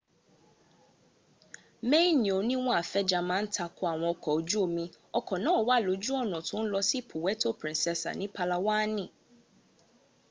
maini oniwonn afenja ma n takoiwon oko oju omi oko naa wa loju ona to n lo si puweto princesa ni palawaani